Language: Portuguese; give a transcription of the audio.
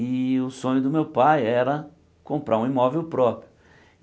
E o sonho do meu pai era comprar um imóvel próprio.